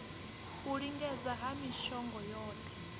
u lingedza ha mishongo yohe